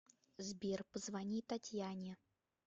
сбер позвони татьяне